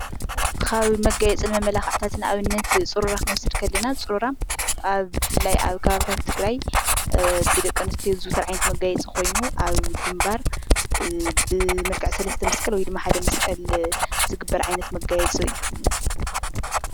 ካብ መጋየፅን መመላኽዕታትን ንኣብነት ፅሩራ ክንወስድ ከለና ፅሩራ ኣብ ብፍላይ ኣብ ከባብታት ትግራይ ብደቂ ኣንስትዮ ዝዝውተር ዓይነት መጋየፂ ኮይኑ ኣብ ግንባር ብመልክዕ 3+ መስቀል ወይ ድማ ሓደ መስቀል ዝግበር ዓይነት መጋየፂ እዩ፡፡